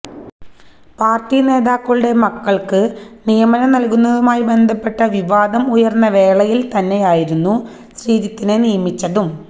party നേതാക്കളുടെ മക്കൾക്ക് നിയമനം നൽകുന്നതുമായി ബന്ധപ്പെട്ട വിവാദം ഉയർന്ന വേളയിൽ തന്നെയായിരുന്നു ശ്രീജിത്തിനെ നിയമിച്ചതും